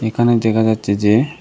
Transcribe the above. এখানে দেখা যাচ্ছে যে--